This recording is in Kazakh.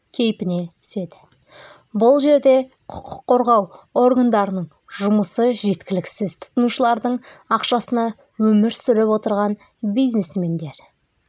кейпіне түседі бұл жерде құқық қорғау органдарының жұмысы жеткіліксіз тұтынушылардың ақшасына өмір сүріп отырған бизнесмендер